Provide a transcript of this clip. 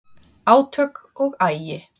Átök og agi